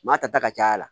Maa ta ta ka caya